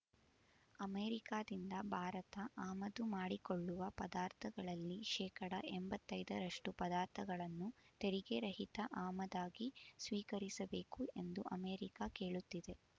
ಅಮೆರಿಕಾದಿಂದ ಭಾರತ ಆಮದು ಮಾಡಿಕೊಳ್ಳುವ ಪದಾರ್ಥಗಳಲ್ಲಿ ಶೇಕಡಾ ಎಂಬತ್ತೈ ರಷ್ಟು ಪದಾರ್ಥಗಳನ್ನು ತೆರಿಗೆ ರಹಿತ ಆಮದಾಗಿ ಸ್ವೀಕರಿಸಬೇಕು ಎಂದು ಅಮೇರಿಕ ಕೇಳುತ್ತಿದೆ